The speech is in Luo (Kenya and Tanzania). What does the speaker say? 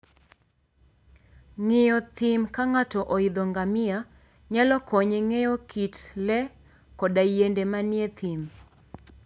Ng'iyo thim ka ng'ato oidho ngamia, nyalo konye ng'eyo kit le koda yiende manie thim.